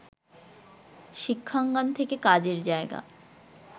শিক্ষাঙ্গন থেকে কাজের জায়গা